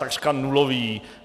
Takřka nulový.